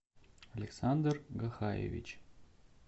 александр гахаевич